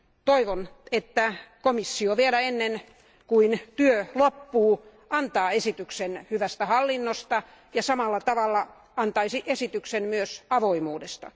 Toivon, että komissio vielä ennen kuin työ loppuu antaa esityksen hyvästä hallinnosta ja samalla tavalla antaisi esityksen myös avoimuudesta.